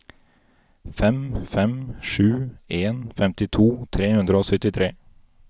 fem fem sju en femtito tre hundre og syttitre